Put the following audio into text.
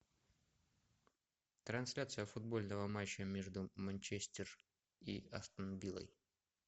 трансляция футбольного матча между манчестер и астон виллой